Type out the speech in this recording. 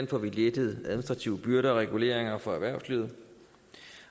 får lettet administrative byrder og reguleringer for erhvervslivet